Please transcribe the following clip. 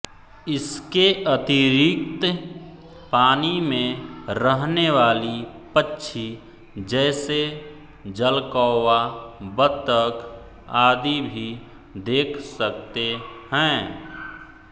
इसके अतिरिक्त पानी में रहने वाली पक्षी जैसे जलकौवा बत्तख आदि भी देख सकते हैं